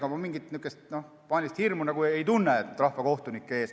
Aga ma mingit paanilist hirmu rahvakohtunike ees ei tunne.